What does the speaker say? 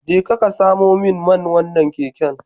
Jeka ka samo min man wannan keken.